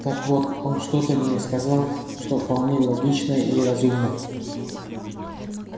так вот он что-то мне сказал что вполне логичное и разумное